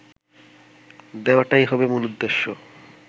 দেওয়াটাই হবে মূল উদ্দেশ্য